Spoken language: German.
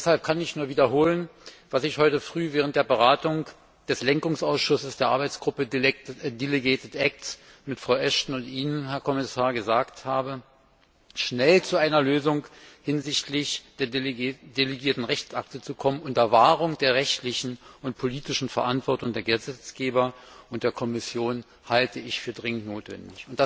Deshalb kann ich nur wiederholen, was ich heute Früh während der Beratung des Lenkungsausschusses der Arbeitsgruppe delegierte Rechtsakte mit Frau Ashton und Ihnen, Herr Kommissar, gesagt habe Schnell zu einer Lösung hinsichtlich der Delegierten Rechtsakte zu kommen unter Wahrung der rechtlichen und politischen Verantwortung der Gesetzgeber und der Kommission halte ich für dringend notwendig.